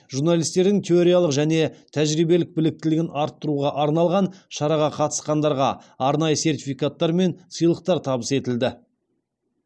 журналистердің теориялық және тәжірибелік біліктілігін арттыруға арналған шараға қатысқандарға арнайы сертификаттар мен сыйлықтар табыс етілді